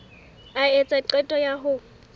a etsa qeto ya ho